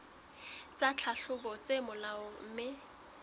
tsa tlhahlobo tse molaong mme